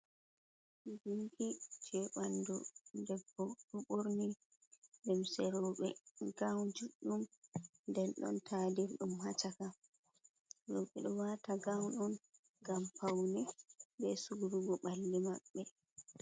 Gunki je ɓandu debbo ɓo ɓorni limse roɓe, gaun judɗum nden don tadir ɗum ha caka rbedo wata gaun on ngam paune be sugurugo balde maɓɓe.